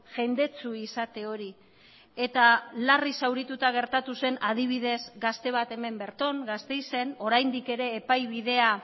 jendetsu izate hori eta larri zaurituta gertatu zen adibidez gazte bat hemen berton gasteizen oraindik ere epai bidea